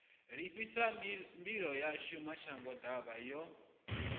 ḽifhasi mbilo yashu mashangoḓavha yo